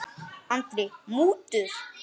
Andri: Mútur?